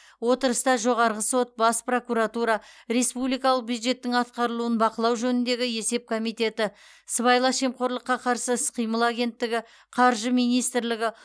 отырыста жоғарғы сот бас прокуратура республикалық бюджеттің атқарылуын бақылау жөніндегі есеп комитеті сыбайлас жемқорлыққа қарсы іс қимыл агенттігі қаржы министрлігі